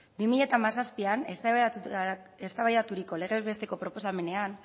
bi mila hamazazpian eztabaidaturiko legez besteko proposamenean